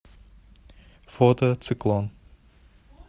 фото циклон